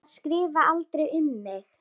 Að skrifa aldrei um mig.